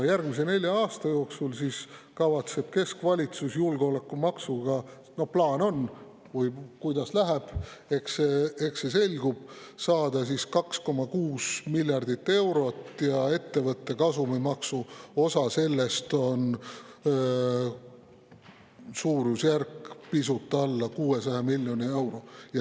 Järgmise nelja aasta jooksul kavatseb keskvalitsus julgeolekumaksuga – plaan on, aga kuidas läheb, eks see selgub – saada 2,6 miljardit eurot, ettevõtte kasumimaksu osa sellest on pisut alla 600 miljoni euro.